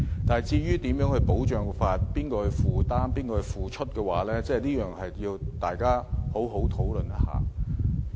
但是，如何保障和由誰負擔，這點需要大家好好討論。